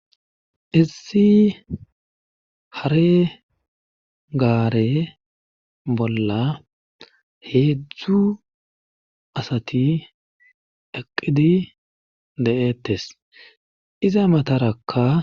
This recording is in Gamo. Issi hare gaare bolla heedzdzu asati eqqidi de7ettes iza matarakka